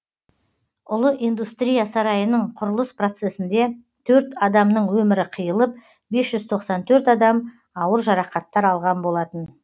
ұлы индустрия сарайының құрылыс процесінде төрт адамның өмірі қиылып бес жүз тоқсан төрт адам ауыр жарақаттар алған болатын